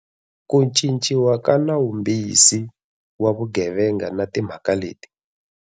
Ku Cinciwa ka Nawumbisi wa Vugevenga na Timhaka leti.